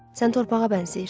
Sən torpağa bənzəyirsən.